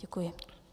Děkuji.